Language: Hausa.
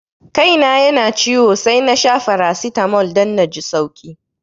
Kai na yana ciwo sai nasha faracitamol dan naji sauki